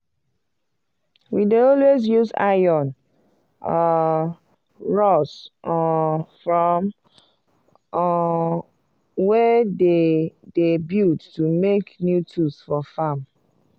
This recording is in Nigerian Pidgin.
we dey always use iron um rods um from um wey dem dey build to make new tools for farm.